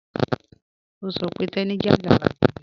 Ọ̀ n sọ̀ pé Teni jẹ́ agbàgébẹ́.